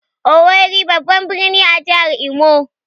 "Owerri" babban birni ne a jihar Imo